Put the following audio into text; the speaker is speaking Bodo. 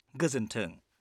गोजोनथों।